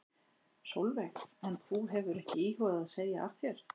Sólveig: En þú hefur ekki íhugað að segja af þér?